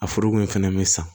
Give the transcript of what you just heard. A foroko in fɛnɛ be san